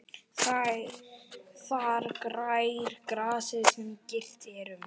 Þar grær grasið sem girt er um.